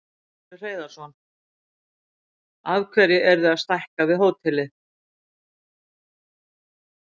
Magnús Hlynur Hreiðarsson: Af hverju eruð þið að stækka við hótelið?